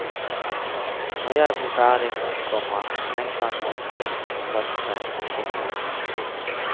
Når jeg blir ferdig, komma tenkte han motløst og satte seg. punktum